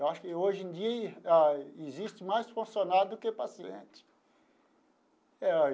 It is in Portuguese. Eu acho que hoje em dia ah existe mais funcionário do que paciente eh.